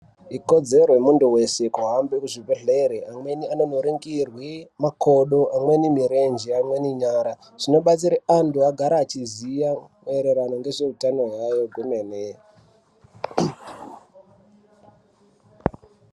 Ikodzero yemuntu wese kuhambe kuzvibhehlere, amweni anonoringirwe makodo, amweni mirenje amweni nyara. Zvinobatsira antu agare achiziya maererano ngezveutano hwayo kwemene.